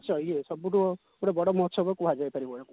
ନିଶ୍ଚୟ ଇଏ ସବୁଠୁ ପୁରା ବଡ ମହୋତ୍ସବ କୁହାଯାଇ ପାରିବ ୟାକୁ